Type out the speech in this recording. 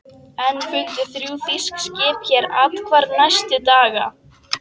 Enn fundu þrjú þýsk skip hér athvarf næstu daga.